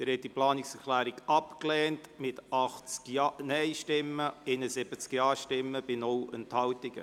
Sie haben diese Planungserklärung abgelehnt mit 80 Nein- gegen 71 Ja-Stimmen bei 0 Enthaltungen.